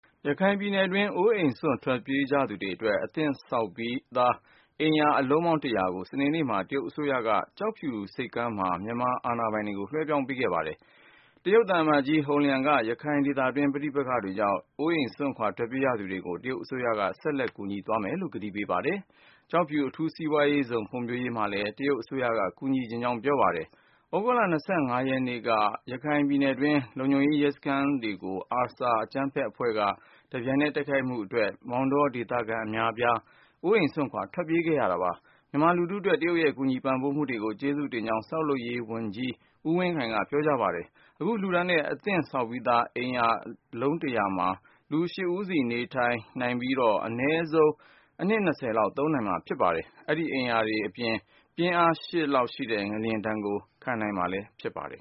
ရခိုင်ပြည်နယ်တွင်း အိုးအိမ်စွန့် ထွက်ပြေးနေရသူတွေအတွက် အသင့်ဆောက်ပြီး အိမ်ယာ အလုံးပေါင်း ၁၀၀ ကို စနေနေ့မှာ တရုတ်အစိုးရက ကျောက်ဖြူဆိပ်ကမ်းမှာ မြန်မာအာဏာပိုင်တွေကို လွှဲပြောင်းပေးအပ်ခဲ့ပါတယ်။ အိမ်ယာလွှဲပြောင်း ပေးအပ်ပွဲမှာ မြန်မာနိုင်ငံဆိုင်ရာ တရုတ်သံအမတ်ကြီး Hong Liang က ရခိုင်ဒေသတွင်း ပဋိပက္ခတွေကြောင့် အိုးအိမ်စွန့်ခွာ ထွက်ပြေးရသူတွေကို တရုတ်အစိုးရက ဆက်လက် ကူညီမယ်လို့ ကတိပြုခဲ့ပါတယ်။ ဒေသတွင်း စီးပွားရေး တိုးတက်ဖွံ့ဖြိုးလာအောင် ကျောက်ဖြူ အထူးစီးပွားရေးဇုံ ဖွံ့ဖြိုးရေးမှာ တရုတ်အစိုးရက ကူညီချင်ကြောင်းလဲ ပြောပါတယ်။ သြဂုတ်လ ၂၅ ရက်နေ့က ရခိုင်ပြည်နယ်တွင်း လုံခြုံရေး ရဲစခန်းတွေကို ARSA အကြမ်းဖက်အဖွဲ့က တပြိုင်နက်ထဲ တိုက်ခိုက်ခဲ့တဲ့အတွက် မောင်တောဒေသခံ အတော်များများ အိုးအိမ်စွန့်ခွာ ထွက်ပြေး နေရတာပါ။ မြန်မာလူထုအတွက် တရုတ်ရဲ့ ကူညီပံ့ပိုးမှုကို ကျေးဇူးတင်ကြောင်း ဆောက်လုပ်ရေးဌာန ပြည်ထောင်စုဝန်ကြီး ဦးဝင်းခိုင်က ပြောကြားခဲ့ပါတယ်။ အခု လှူဒါန်းတဲ့ အသင့်ဆောက်ပြီးသား အိမ်ယာ တလုံးမှာ လူ ၈ ဦးစီ နေထိုင်နိုင် မှာဖြစ်ပြီး အနဲဆုံး အနှစ် ၂၀ လောက် သုံးနိုင်မှာဖြစ်ပါတယ်။ အဲဒီ အိမ်ယာတွေဟာ ပြင်းအား ၈ အထိရှိတဲ့ ငလျင်ဒဏ်ကိုလဲ ခံနိုင်မှာ ဖြစ်ပါတယ်